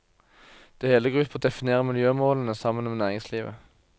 Det hele går ut på å definere miljømålene sammen med næringslivet.